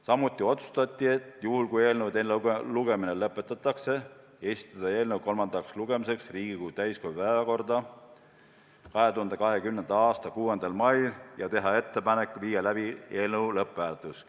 Samuti otsustati juhul, kui eelnõu teine lugemine lõpetatakse, esitada see kolmandaks lugemiseks Riigikogu täiskogu päevakorda 2020. aasta 6. maiks ja teha ettepanek viia läbi eelnõu lõpphääletus.